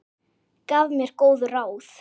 Gaf mér góð ráð.